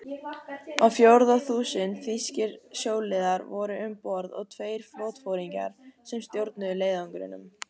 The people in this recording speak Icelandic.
Á fjórða þúsund þýskir sjóliðar voru um borð og tveir flotaforingjar, sem stjórnuðu leiðangrinum.